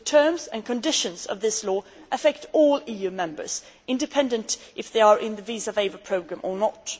The terms and conditions of this law affect all EU members, independent of whether they are in the visa waiver programme or not.